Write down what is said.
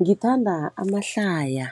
Ngithanda amahlaya.